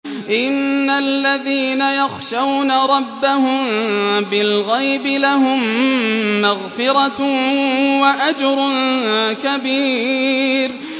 إِنَّ الَّذِينَ يَخْشَوْنَ رَبَّهُم بِالْغَيْبِ لَهُم مَّغْفِرَةٌ وَأَجْرٌ كَبِيرٌ